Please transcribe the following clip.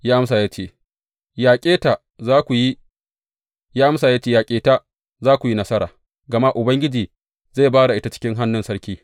Ya amsa ya ce, Yaƙe ta, za ka kuwa yi nasara, gama Ubangiji zai ba da ita cikin hannun sarki.